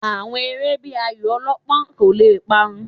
Àwọn eré bíi ayò ọlọ́pán kò le parun